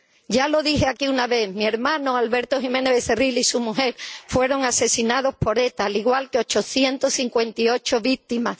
Ya lo dije aquí una vez mi hermano, Alberto Jiménez Becerril, y su mujer fueron asesinados por ETA, al igual que 858 víctimas.